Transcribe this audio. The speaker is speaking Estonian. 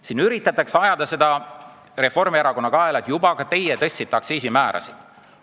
Siin üritatakse ajada seda Reformierakonna kaela: juba teie tõstsite aktsiisimäärasid!